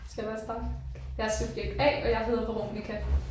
Skal jeg bare starte? Jeg er subjekt A og jeg hedder Veronica